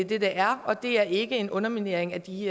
det er og det er ikke en underminering af de